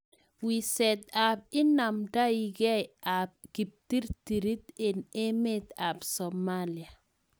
Wiseet ap inaamdaigei ap kiptiiriirit eng' emet ap somalia.